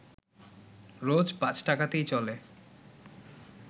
রোজ পাঁচ টাকাতেই চলে